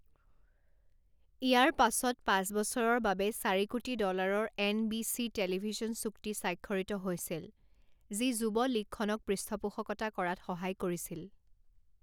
ইয়াৰ পাছত পাঁচ বছৰৰ বাবে চাৰি কোটি ডলাৰৰ এনবিচি টেলিভিছন চুক্তি স্বাক্ষৰিত হৈছিল, যি যুৱ লীগখনক পৃষ্ঠপোষকতা কৰাত সহায় কৰিছিল।